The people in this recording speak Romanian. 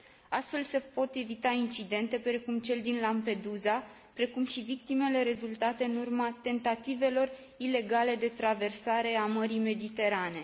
Astfel se pot evita incidente precum cel din Lampedusa, precum și victimele rezultate în urma tentativelor ilegale de traversare a Mării Mediterane.